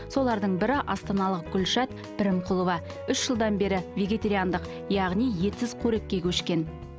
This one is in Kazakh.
солардың бірі астаналық гүльшат пірімқұлова үш жылдан бері вегетариандық яғни етсіз қорекке көшкен